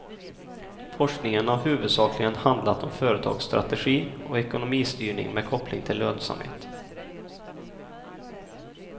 Forskningen har huvudsakligen handlat om företagsstrategi och ekonomistyrning med koppling till lönsamhet.